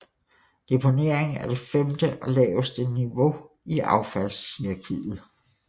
Deponering er det femte og laveste niveau i affaldshierarkiet